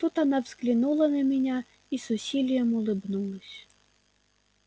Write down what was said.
тут она взглянула на меня и с усилием улыбнулась